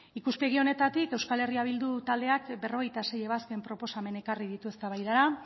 ikuspegi honetatik euskal herria bildu taldeak berrogeita sei ebazpen proposamen ekarri ditu eztabaidara